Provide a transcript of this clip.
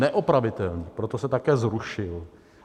Neopravitelný, proto se také zrušil.